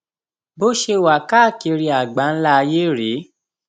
bó ṣe wà káàkiri àgbáńlá ayé rèé